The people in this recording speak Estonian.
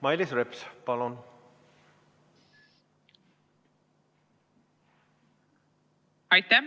Mailis Reps, palun!